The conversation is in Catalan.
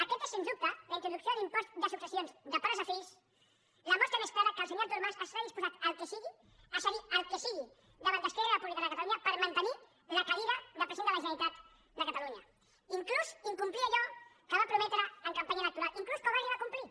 aquesta és sens dubte la introducció de l’impost de successions de pares a fills la mostra més clara que el senyor artur mas està disposat al que sigui a cedir el que sigui davant d’esquerra republicana de catalunya per mantenir la cadira de president de la generalitat de catalunya inclús a incomplir allò que va prometre en campanya electoral inclús quan ho va arribar a complir